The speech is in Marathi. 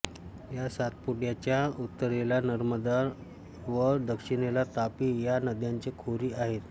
या सातपुड्याच्या उत्तरेला नर्मदा व दक्षिणेला तापी या नद्यांची खोरी आहेत